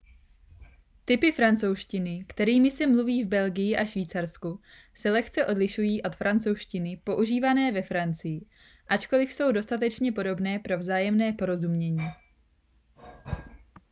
typy francouzštiny kterými se mluví v belgii a švýcarsku se lehce odlišují od francouzštiny používané ve francii ačkoliv jsou dostatečně podobné pro vzájemné porozumění